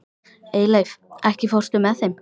Eyleif, ekki fórstu með þeim?